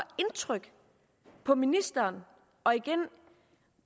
indtryk på ministeren og